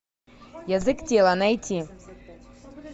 язык тела найти